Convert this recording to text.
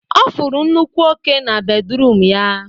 Ọ fụrụ nnukwu oke na bedruum ya